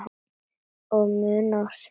Og munað of seint.